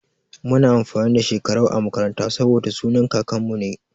Muna amfani da Shekarau a makaranta saboda sunan kakanmu ne.